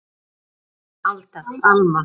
Alda, Alma.